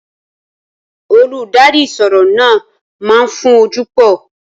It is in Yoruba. Olùkọ́ ìṣirò náà máa ń fún ojú pò